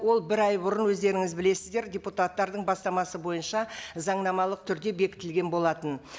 ол бір ай бұрын өздеріңіз білесіздер депутаттардың бастамасы бойынша заңнамалық түрде бекітілген болатын